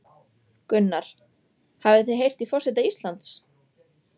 Gunnar: Hafið þið heyrt í forseta Íslands?